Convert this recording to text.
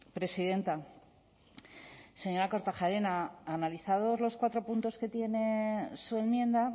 presidenta señora kortajarena analizados los cuatro puntos que tiene su enmienda